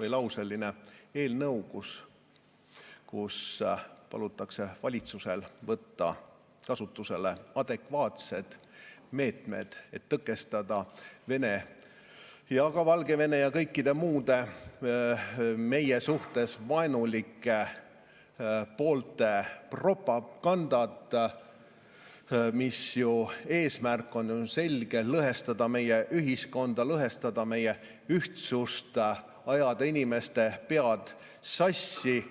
või ‑lauseline eelnõu, kus palutakse valitsusel võtta kasutusele adekvaatsed meetmed, et tõkestada Venemaa ja ka Valgevene ja kõikide muude meie suhtes vaenulike poolte propagandat, mille eesmärk on selge: lõhestada meie ühiskonda, lõhestada meie ühtsust, ajada inimeste pead sassi.